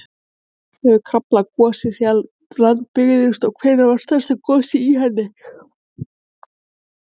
Hversu oft hefur Krafla gosið síðan land byggðist og hvenær varð stærsta gosið í henni?